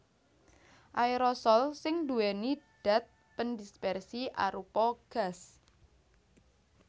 Aerosol sing nduwèni dat pendispersi arupa gas